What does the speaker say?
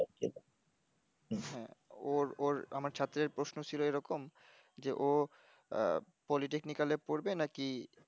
হ্যাঁ ওর ওর আমার ছাত্রের প্রশ্ন ছিল এরকম যে ও আহ politaknical এ পড়বে নাকি